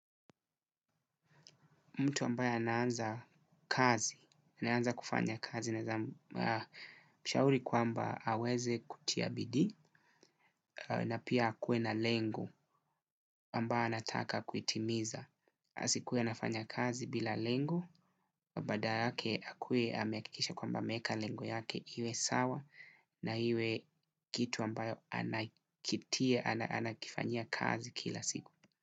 Mtu ambaye anaanza kazi, anaanza kufanya kazi, naeza mshauri kwamba aweze kutia bidii, na pia akuwe na lengo ambayo anataka kuitimiza. Asikuwe anafanya kazi bila lengo, bada lake akuwe ameakikisha kwamba ameeka lengo yake iwe sawa, na iwe kitu ambayo anakitia, anakifanyia kazi kila siku.